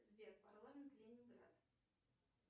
сбер парламент ленинград